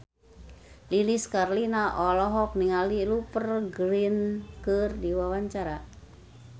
Lilis Karlina olohok ningali Rupert Grin keur diwawancara